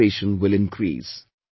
Your concentration will increase